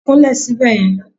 Kún lè sibe ye